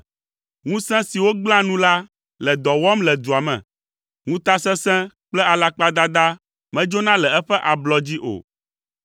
Ŋusẽ siwo gblẽa nu la le dɔ wɔm le dua me; ŋutasesẽ kple alakpadada medzona le eƒe ablɔ dzi o.